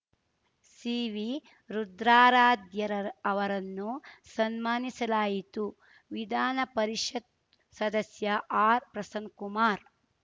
C V Rudraradhya ಅವರನ್ನು ಸನ್ಮಾನಿಸಲಾಯಿತು ವಿಧಾನ ಪರಿಷತ್ ಸದಸ್ಯ ಆರ್‌ಪ್ರಸನ್ ಕುಮಾರ್‌